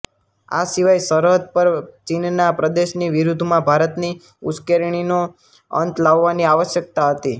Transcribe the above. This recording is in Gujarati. આ સિવાય સરહદ પર ચીનના પ્રદેશની વિરુદ્ધમાં ભારતની ઉશ્કેરણીનો અંત લાવવાની આવશ્યક્તા હતી